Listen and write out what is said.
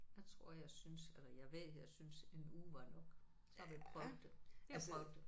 Der tror jeg jeg synes eller jeg ved jeg synes en uge var nok. Så har vi prøvet det. Vi har prøvet det